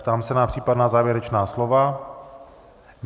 Ptám se na případná závěrečná slova.